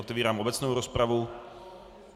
Otevírám obecnou rozpravu.